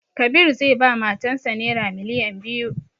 Kabir zai ba matan sa naira miliyan biyu